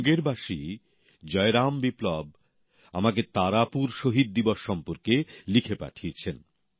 মুঙ্গেরবাসী জয়রাম বিপ্লব আমাকে তারাপুর শহীদ দিবস সম্পর্কে লিখে পাঠিয়েছেন